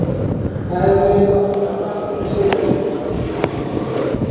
Það hefði verið gott að fá einhverja sigra í þessum síðustu leikjum.